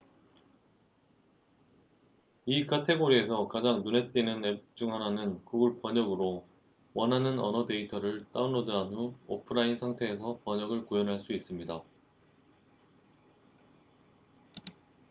이 카테고리에서 가장 눈에 띄는 앱 중 하나는 구글 번역google translate으로 원하는 언어 데이터를 다운로드 한 후 오프라인 상태에서 번역을 구현할 수 있습니다